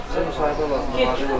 Yaxşı müsahibə olardı.